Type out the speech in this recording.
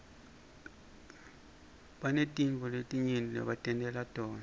bantatintfo letinyenti lebatentela tona